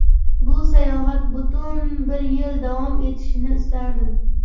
Bu sayohat butun bir yil davom etishini istardim.